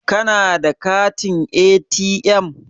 Kana da katin ATM?